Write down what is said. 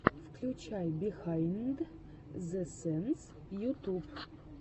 включай бихайнд зэ сэнс ютуб